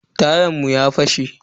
Tayan mu ya fashe.